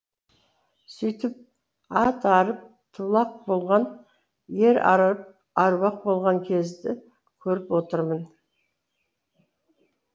сөйтіп ат арып тулақ болған ер арып әруақ болған кезді көріп отырмын